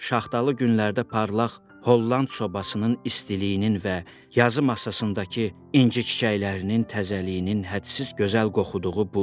Şaxtalı günlərdə parlaq Holland sobasının istiliyinin və yazı masasındakı inci çiçəklərinin təzəliyinin hədsiz gözəl qoxudu.